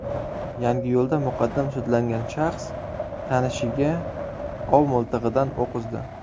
Yangiyo‘lda muqaddam sudlangan shaxs tanishiga ov miltig‘idan o‘q uzdi.